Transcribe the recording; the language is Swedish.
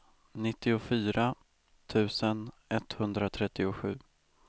nittiofyra tusen etthundratrettiosju